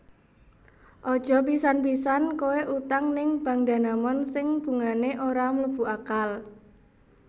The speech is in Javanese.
Aja pisan pisan koe utang ning Bank Danamon sing bungane ora mlebu akal